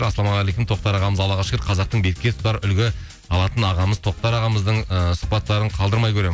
ассалаумағалейкум тоқтар ағамыз аллаға шүкір қазақтың бетке ұстар үлгі алатын ағамыз тоқтар ағамыздың ыыы сұхбаттарын қалдырмай көремін